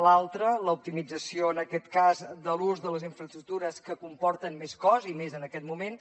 l’altra l’optimització en aquest cas de l’ús de les infraestructures que comporten més cost i més en aquest moment